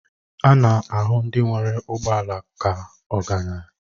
A na-ahụ ndị nwere ụgbọ ala ka ọgaranya